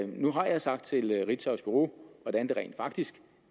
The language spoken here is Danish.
nu har jeg sagt til ritzaus bureau hvordan det rent faktisk